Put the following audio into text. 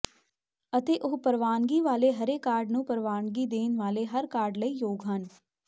ਅਤੇ ਉਹ ਪ੍ਰਵਾਨਗੀ ਵਾਲੇ ਹਰੇ ਕਾਰਡ ਨੂੰ ਪ੍ਰਵਾਨਗੀ ਦੇਣ ਵਾਲੇ ਹਰ ਕਾਰਡ ਲਈ ਯੋਗ ਹਨ